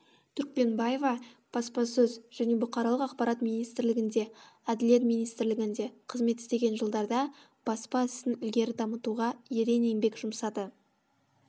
түркбенбаева баспасөз және бұқаралық ақпарат министрлігінде әділет министрлігінде қызмет істеген жылдарда баспа ісін ілгері дамытуға ерен еңбек жұмсады